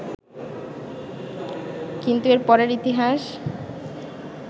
কিন্তু এর পরের ইতিহাস